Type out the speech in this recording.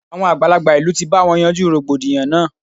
Àwọn àgbàlagbà ìlú ti bá wọn yanjú rògbòdìyàn náà.